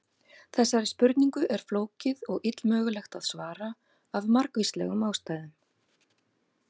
Þessari spurningu er flókið og illmögulegt að svara af margvíslegum ástæðum.